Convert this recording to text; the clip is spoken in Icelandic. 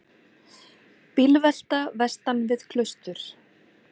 Bílvelta vestan við Klaustur